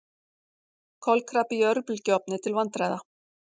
Kolkrabbi í örbylgjuofni til vandræða